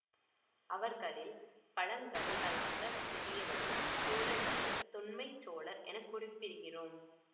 அவர்களில் பழங்கதைகளாகத் தெரியவரும் சோழர்களைத் தொன்மச் சோழர் என குறிப்பிடுகிறோம்